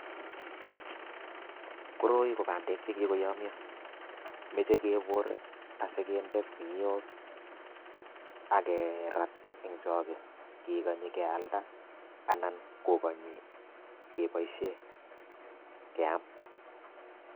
Koroi ko bandek che kikoyomio, mechei kebor asi kinde kuniok ak kerat eng choge kikonyi kealda anan kokonyi keboisie keam.